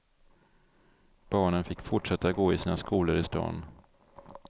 Barnen fick fortsätta att gå i sina skolor i stan.